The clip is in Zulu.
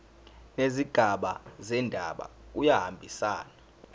nezigaba zendaba kuyahambisana